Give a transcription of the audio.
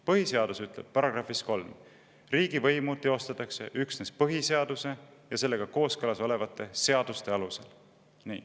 Põhiseaduse § 3 ütleb: "Riigivõimu teostatakse üksnes põhiseaduse ja sellega kooskõlas olevate seaduste alusel.